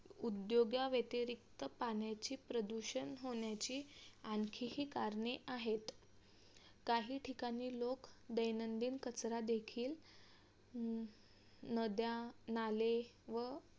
उद्योगाव्यतिरीक्त पाण्याची प्रदूषण होण्याची आणखी ही करणे आहेत. काही ठिकाणी लोक दैनंदिन कचरा देखील नद्या नाले व